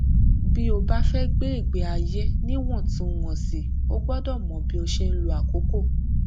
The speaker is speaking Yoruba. bí o bá fẹ gbé ìgbé ayé níwọntúnwọnsì o gbọdọ mọ bí o ṣe ń lo àkókò